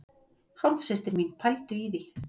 Hálfsystir mín, pældu í því!